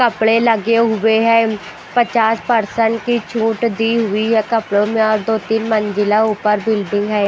कपड़े लगे हुए है पचास पर्सेंट की छूट दी हुई है कपड़े मे और दो तीन मंजिला ऊपर बिल्डिंग है।